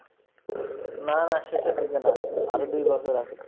না না শেষের দিকে না আরো দুই বছর আছে